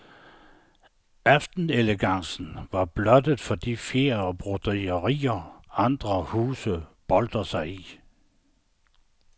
Aftenelegancen var blottet for de fjer og broderier, andre huse boltrer sig i.